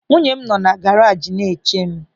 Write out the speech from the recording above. Nwunye m nọ na garajị na-eche m.